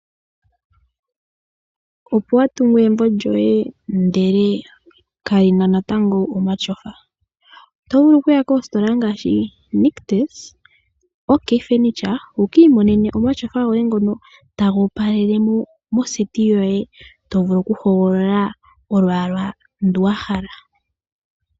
Opo watungu egumbo lyoye ndele kalina natango omatyofa? Otovulu okuya koositola ngaashi Nictus no Ok Furniture wukiimonene omatyofa goye ngono taga opaleke mondunda yoye yokugondja , otovulu woo okuhogolola olwaala ndu wahala.